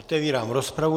Otevírám rozpravu.